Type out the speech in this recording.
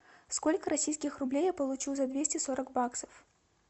сколько российских рублей я получу за двести сорок баксов